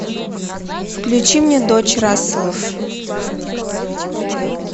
включи мне дочь расселов